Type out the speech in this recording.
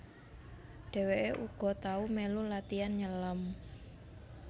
Dheweke uga tau melu latian nyelem